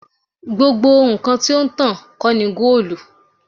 Gbogbo nkan ti o n tan kii ṣe goolu